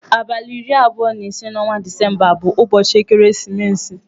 Abalị iri abụọ na ise n'ọnwa Disemba bụ ụbọchị ekeresimesi.